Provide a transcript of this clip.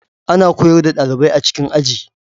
Ana koyar da dalibai a cikin Aji